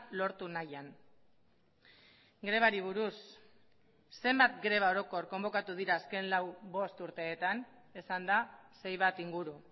lortu nahian grebari buruz zenbat greba orokor konbokatu dira azken lau bost urteetan esan da sei bat inguru